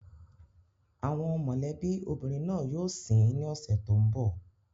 Àwọn mọ̀lẹ́bí obìnrin náà yóò sin ín ní ọ̀sẹ̀ tó ń bọ̀.